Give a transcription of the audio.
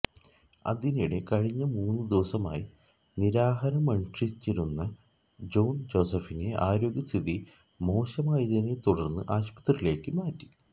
അതിനിടെ കഴിഞ്ഞ മൂന്നു ദിവസമായി നിരാഹാരമനുഷ്ഠിച്ചിരുന്ന ജോണ് ജോസഫിനെ ആരോഗ്യസ്ഥിതി മോശമായതിനെതുടര്ന്ന് ആശുപത്രിയിലേക്കു മാറ്റി